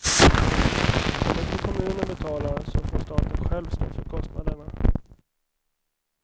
Om inte kommunen betalar så får staten själv stå för kostnaderna.